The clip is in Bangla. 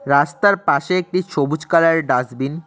রাস্তার পাশে একটি সবুজ কালার -এর ডাসবিন ।